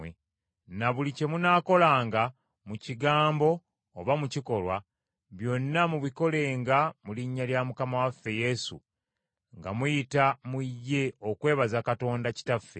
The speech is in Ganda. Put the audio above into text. Na buli kye munaakolanga mu kigambo oba mu kikolwa, byonna mubikolenga mu linnya lya Mukama waffe Yesu nga muyita mu ye okwebaza Katonda Kitaffe.